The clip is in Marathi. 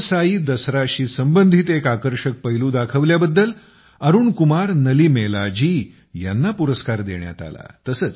कुलसाई दसराशी संबंधित एक आकर्षक पैलू दाखविल्याबद्दल अरुण कुमार नलीमेलाजी यांना पुरस्कार देण्यात आला